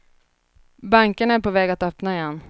Bankerna är på väg att öppna igen.